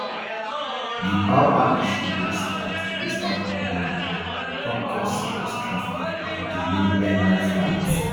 di power issue wey start wey start on monday don cause serious traffic and delay airline flights